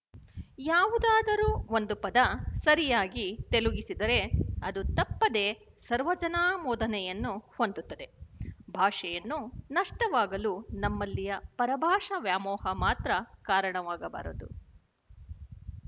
ಯಾವುದಾದರೂ ಒಂದು ಪದ ಸರಿಯಾಗಿ ತೆಲುಗಿಸಿದರೆ ಅದು ತಪ್ಪದೇ ಸರ್ವಜನಾಮೋದನೆಯನ್ನು ಹೊಂದುತ್ತದೆ ಭಾಷೆಯನ್ನು ನಷ್ಟವಾಗಲು ನಮ್ಮಲ್ಲಿಯ ಪರಭಾಷಾ ವ್ಯಾಮೋಹ ಮಾತ್ರ ಕಾರಣವಾಗಬಾರದು